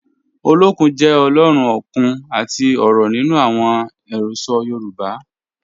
Ọlọ́kun jẹ́ Ọ̀lọ́run okun àti ọ̀rọ̀ nínu awọn ẹ̀rọsọ̀ Yorùbá